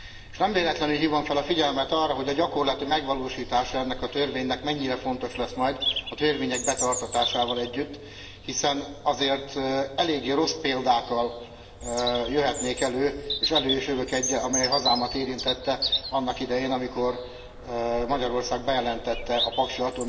S nem véletlenül hívom fel a figyelmet arra, hogy a gyakorlati megvalósítása ennek a törvénynek mennyire fontos lesz majd a törvények betartatásával együtt, hiszen azért eléggé rossz példákkal jöhetnék elő, és elő is jövök eggyel, amely hazámat érintette annak idején, amikor Magyarország bejelentette a paksi